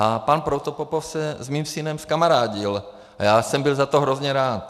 A pan Protopopov se s mým synem skamarádil a já jsem byl za to hrozně rád.